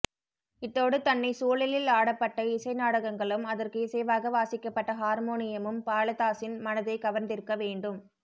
இத்தோடு தன்னை சூழலில் ஆடப்பட்ட இசை நாடகங்களும் அதற்கு இசைவாக வாசிக்கப்பட்ட ஹார்மோனியமும் பாலதாஸின் மனதைக் கவர்ந்திருக்க வேண்டும்